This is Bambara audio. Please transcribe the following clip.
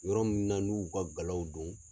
Yɔrɔ min na n'u y'u ka galaw don